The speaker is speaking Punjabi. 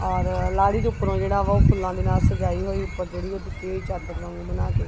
ਔਰ ਲਾੜੀ ਦੇ ਉਪਰੋਂ ਜਿਹੜਾ ਵਾ ਉਹ ਫੁੱਲਾਂ ਦੇ ਨਾਲ ਸਜਾਈ ਹੋਈ ਉੱਪਰ ਜਿਹੜੀ ਉਹ ਦਿੱਤੀ ਹੋਈ ਚਾਦਰ ਵਾਂਗੂੰ ਬਨਾ ਕੇ।